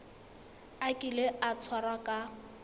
a kile a tshwarwa ka